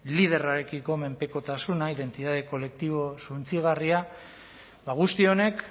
liderrarekiko menpekotasuna identitate kolektibo suntsigarria ba guzti honek